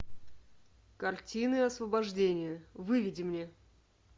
картины освобождения выведи мне